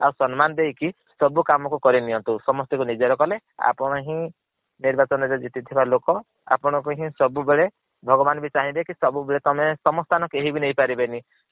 ଆଉ ସଂମାନ ଦେଇକି ସବୁ କାମ କୁ କରି ନିଅନ୍ତୁ। ସମସ୍ତିଙ୍କୁ ନିଜର କଲେ ଆପଣ ହିଁ ନିର୍ବାଚନ ରେ ଜିତି ଥିବା ଲୋକ ଆପଣ କୁ ହିଁ ସବୁ ବେଳେ ଭଗବାନ୍ ବି ଚାହିଁଲେ କି ସବୁ ବେଳେ ତମେ ତମ ସ୍ଥାନ କେହି ବି ନେଇ ପାରିବେନି।